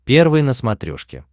первый на смотрешке